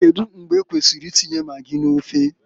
Kedu mgbe ekwesiri i tinye magi n'ofe?